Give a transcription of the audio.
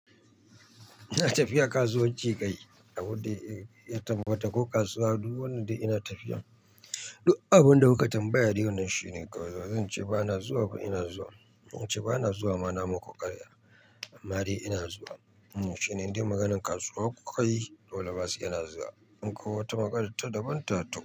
Ina tafiya kasuwar Jigai a wuri, ya taɓa wata ko kasuwa duk wannan dai ina tafiya. Duk abin da kuka tambaya dai wannan shine kawai ba zan ce ba na zuwa ba ina zuwa. In ce ba na zuwa ma namu ku ƙarya, anma dai ina zuwa. Shine inda maganan kasuwa kuka yi dole ba sai ina zuwa. In koh wata maganata daban ta to.